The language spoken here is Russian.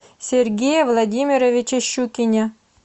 сергее владимировиче щукине